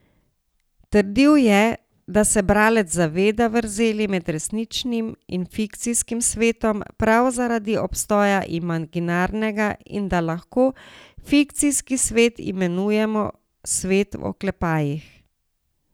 Trdil je, da se bralec zaveda vrzeli med resničnim in fikcijskim svetom prav zaradi obstoja imaginarnega in da lahko fikcijski svet imenujemo svet v oklepajih.